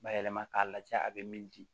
Bayɛlɛma k'a lajɛ a bɛ min di